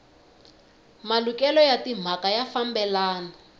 malukelo ya timhaka ya fambelana